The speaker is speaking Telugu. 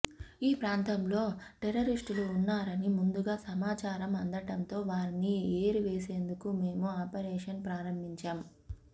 ఈ ప్రాంతంలో టెర్రరిస్టులు ఉన్నారని ముందుగా సమాచారం అందడంతో వారిని ఏరివేసేందుకు మేము ఆపరేషన్ ప్రారంభించాం